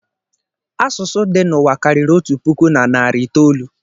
Asụsụ dị n'ụwa karịrị otu puku na narị itoolu